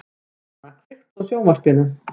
Dana, kveiktu á sjónvarpinu.